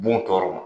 Bon tɔɔrɔ ma